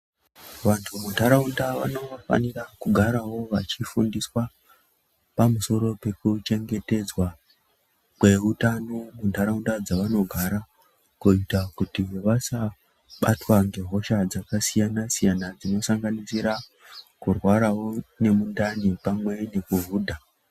Vantu munharaunda vanofanira kugarawo vachifundiswa pamusoro pekuchengetedzwa kweutano munharaudza dzavanogara kuita kuti vasabatwa ngehosha dzakasiyana siyana dzinosanganisira kurwarawo nemundani pamwe nekuhudha .